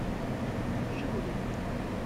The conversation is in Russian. жигули